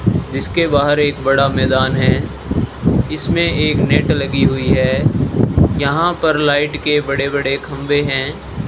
जिसके बाहर एक बड़ा मैदान है इसमें एक नेट लगी हुई है यहां पर लाइट के बड़े बड़े खंबे हैं।